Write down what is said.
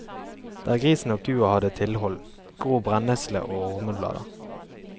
Der grisen og kua hadde tilhold, gror brennesle og ormeblader.